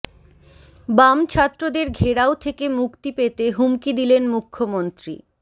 বাম ছাত্রদের ঘেরাও থেকে মুক্তি পেতে হুমকি দিলেন মুখ্য়মন্ত্রী